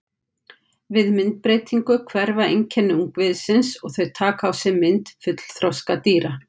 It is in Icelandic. Við myndbreytingu hverfa einkenni ungviðisins og þau taka á sig mynd fullþroska dýra.